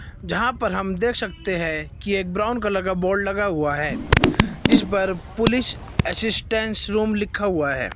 यहां पर हम देख सकते हैं कि एक ब्राउन कलर का बोर्ड लगा हुआ है जिस पर पुलिस असिस्टेंस रूम लिखा हुआ है।